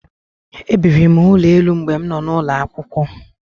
E biri m n'ụlọ elu mgbe m nọ n'ulo akwụkwọ.